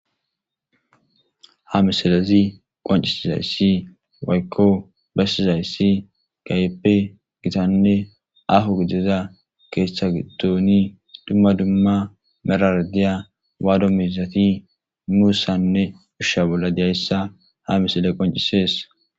Ha missilezi qonc'isizaysi woyko besizaysi kehipe gitane aho gidiza ketha gidoni duma duma merara diya wadu mizati musanne Usha bola diyaysa ha missiley qonc'ses.